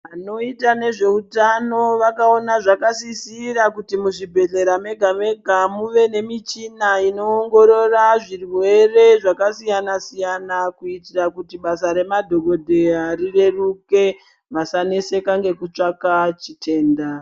Vanoita nezveutano vakaona zvakasisira kuti muzvibhedhlera mega mega muve nemichina inoongorora zvirwere zvakasiyana siyana kuitira kuti basa rema dhokodheya rireruke vasaneseka ngekutsvaka chitenda.